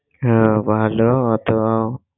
হ্যাঁ ভালোতো